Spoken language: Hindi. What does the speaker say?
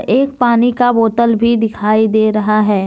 एक पानी का बोतल भी दिखाई दे रहा हैं।